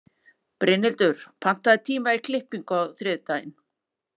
Brynhildur, pantaðu tíma í klippingu á þriðjudaginn.